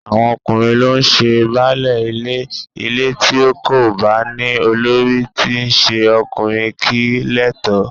Àwọn ọkùnrin ló ń ṣe baálé ilé, ilé tí kò bá ní olórí tí í ṣe ọkùnrin kìí létò